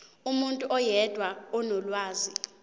umuntu oyedwa onolwazi